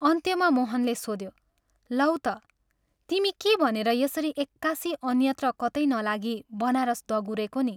अन्त्यमा मोहनले सोध्यो " लौ ता, तिमी के भनेर यसरी एक्कासि अन्यत्र कतै नलागी बनारस दगुरेको नि?